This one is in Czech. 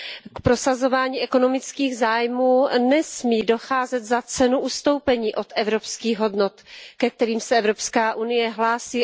K prosazování ekonomických zájmů nesmí docházet za cenu ustoupení od evropských hodnot, ke kterým se Evropská unie hlásí.